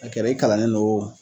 a kɛra i kalanlen lo o